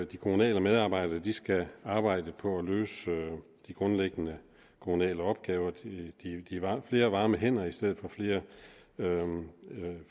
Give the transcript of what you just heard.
de kommunale medarbejdere skal arbejde på at løse de grundlæggende kommunale opgaver flere varme hænder i stedet for flere